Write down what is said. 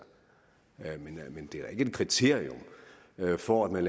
men det er da ikke et kriterium for at man